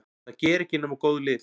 Það gera ekki nema góð lið.